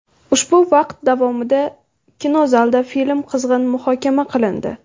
Ushbu vaqt davomida kinozalda film qizg‘in muhokama qilindi.